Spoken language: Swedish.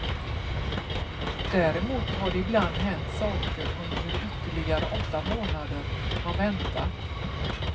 Däremot har det ibland hänt saker under de ytterligare åtta månader man väntat.